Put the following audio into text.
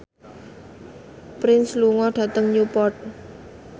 Prince lunga dhateng Newport